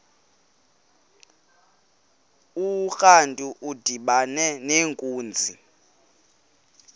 urantu udibana nenkunzi